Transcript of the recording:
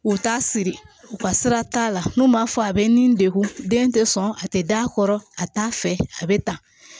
U t'a siri u ka sira t'a la n'u m'a fɔ a bɛ ni degun den tɛ sɔn a tɛ d'a kɔrɔ a t'a fɛ a bɛ tan